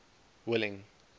willing